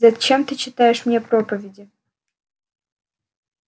зачем ты читаешь мне проповеди